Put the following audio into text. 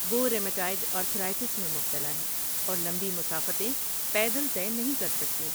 وہ rheumatoid arthritis میں مبتلا ہے اور لمبی مسافتیں پیدل طے نہیں کر سکتیں۔